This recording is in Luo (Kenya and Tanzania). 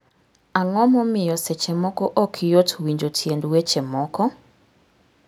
Ang'o momiyo seche moko ok yot winjo tiend weche moko?